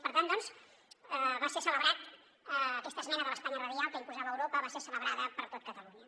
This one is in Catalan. per tant doncs va ser celebrada aquesta esmena de l’espanya radial que imposava europa va ser celebrada per tot catalunya